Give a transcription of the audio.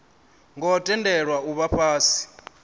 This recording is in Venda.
ngo tendelwa u vha fhasi